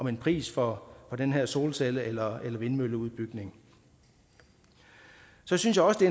en pris for den her solcelle eller vindmølleudbygning så synes jeg også det